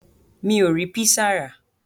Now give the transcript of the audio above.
Mi ò rí písà rà.